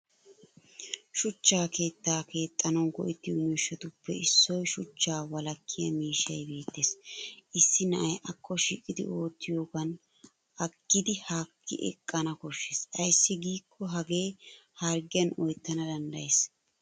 Shuchcha keettaa keettanawu go'ettiyo miishshatuppe issoy shuchchaa wolakkiya miishshay Bette's. Issi na'ay akko shiiqidi oottiyoogan aggidi haakki eqqana koshshes ayssi giikko Hagee harggiyan oyttana danddayes.